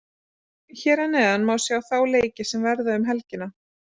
Hér að neðan má sjá þá leiki sem verða um helgina.